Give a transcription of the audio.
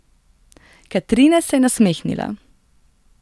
Katrine se je nasmehnila.